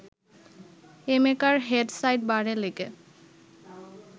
এমেকার head side বারে লেগে